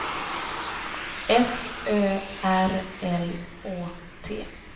F Ö R L Å T